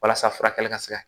Walasa furakɛli ka se ka